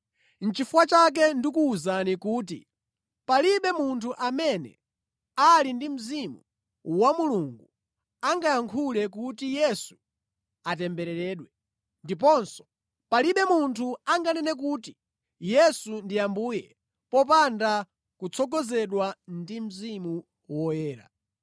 Nʼchifukwa chake ndikuwuzani kuti palibe munthu amene ali ndi Mzimu wa Mulungu angayankhule kuti, “Yesu atembereredwe,” ndiponso palibe munthu anganene kuti “Yesu ndi Ambuye,” popanda kutsogozedwa ndi Mzimu Woyera.